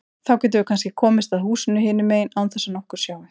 Þá getum við kannski komist að húsinu hinum megin án þess að nokkur sjái.